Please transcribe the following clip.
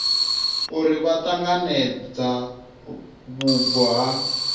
uri vha ṱanganedza vhubvo ha